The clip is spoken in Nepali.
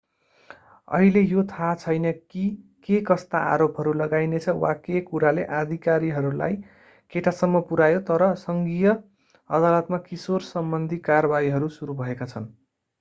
अहिले यो थाहा छैन कि केकस्ता आरोपहरू लगाइनेछ वा के कुराले अधिकारीलाई केटासम्म पुर्‍यायो तर सङ्घीय अदालतमा किशोरसम्बन्धी कारवाहीहरू सुरु भएका छन्।